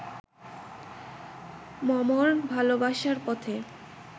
মমর ভালোবাসার পথে